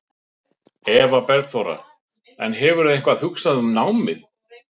Eva Bergþóra: En hefurðu eitthvað hugsað um námið?